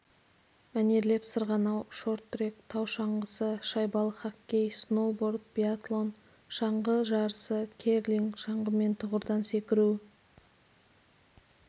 мәнерлеп сырғанау шорт-трек тау шаңғысы шайбалы хоккей сноуборд биатлон шаңғы жарысы керлинг шаңғымен тұғырдан секіру